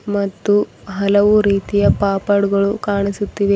ಮತ್ತು ಹಲವು ರೀತಿಯ ಪಾಪಡ್ ಗಳು ಕಾಣಿಸುತ್ತಿವೆ.